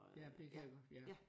Ja det kan jeg godt ja